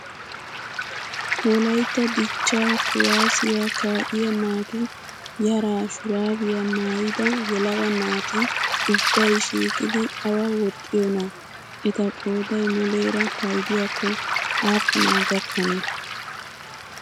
Wlayitta dichchaa kawaazziyaa kaa'iyaa naatu yaraa shuraabiyaa maayyida yelaga naati ubbayi shiiqidi awaa woxxiyoonaa? Eta qodayi muleera payidiyaakko aapunaa gakkanee?